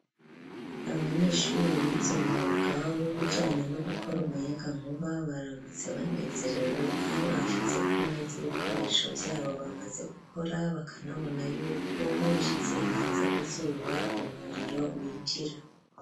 Abanyeshuri bize umwuga w'ubijanye no gukora umuyaga nkuba baramutse banezerewe aho bashize ku meza ibikoresho vyabo bamaze gukora bakanabona yuko babishyize hanze ku zuba umuriro winjira.